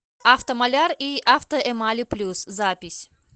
автомаляр и автоэмали плюс запись